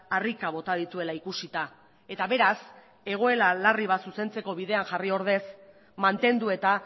harrika bota dituela ikusita eta beraz egoera larri bat zuzentzeko bidean jarri ordez mantendu eta